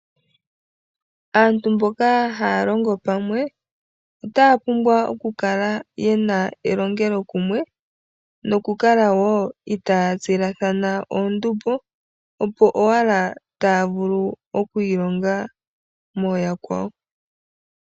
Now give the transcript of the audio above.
Aantu mboka haya longo pamwe otapumbwa oku kala yena elongelo kumwe noku kala wo ita tsilathana oondumbo opo owala tavulu oku ilonga moyakwao.